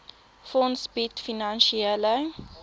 fonds bied finansiële